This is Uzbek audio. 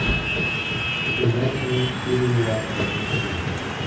Shundan so‘ng piling vositasini suring.